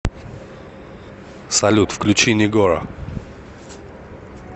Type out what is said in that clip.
салют включи нигора